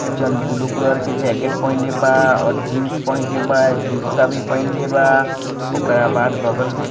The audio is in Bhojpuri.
जन ब्लू कलर के जैकेट पहिनले बाऔर जीन्स पहिनले बा अ जुत्ता भी पहिनले बा ओकरा बाद बगल --